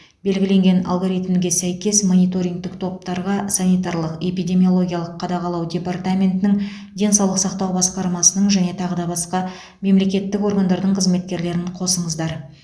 белгіленген алгоритмге сәйкес мониторингтік топтарға санитарлық эпидемиологиялық қадағалау департаментінің денсаулық сақтау басқармасының және тағы да басқа мемлекеттік органдардың қызметкерлерін қосыңыздар